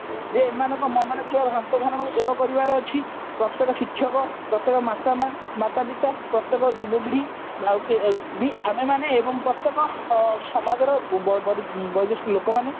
ଯେ ଏମାନଙ୍କ ମନରେ ଥିବା ଭ୍ରାନ୍ତ ଧାରଣା କୁ ଦୂର କରିବାର ଅଛି ପ୍ରତ୍ଯେକ ଶିକ୍ଷକ ପ୍ରତ୍ଯେକ ମାତା ପିତା ପ୍ରତ୍ଯେକ ଯୁବପିଢି ଆମେମାନେ ଏବଂ ପ୍ରତ୍ଯେକ ସମାଜର ବୟୋଜେଷ୍ଠ ଲୋକମାନେ